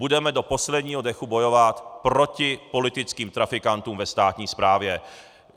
Budeme do posledního dechu bojovat proti politickým trafikantům ve státní správě.